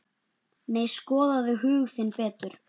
Nei, skoðaðu hug þinn betur.